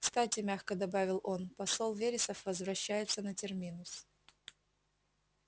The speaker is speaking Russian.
кстати мягко добавил он посол вересов возвращается на терминус